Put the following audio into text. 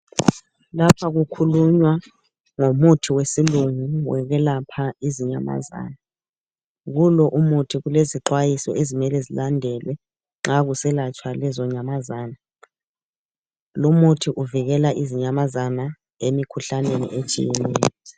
Lapha kukhulunywa ngomuthi wesilungu wokwelapha izinyamazana. Kulo umuthi kulezixwayiso ezimele zilandelwe nxa kuselatshwa lezo nyamazana. Lumuthi uvikela izinyamazana emikhuhlaneni etshiyeneyo.